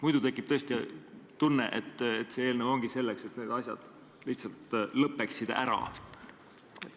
Muidu tekib tõesti tunne, et see eelnõu ongi selleks, et need asjad lihtsalt lõppeksid ära.